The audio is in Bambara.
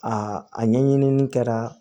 Aa a ɲɛɲinini kɛra